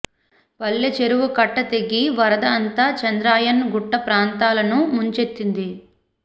పల్లె చెరువు కట్ట తెగి వరద అంతా చాంద్రాయణ్ గుట్ట ప్రాంతాలను ముంచెత్తింది